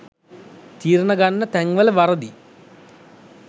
තීරණ ගන්න තැන් වල වරදි